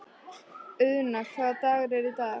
Auðna, hvaða dagur er í dag?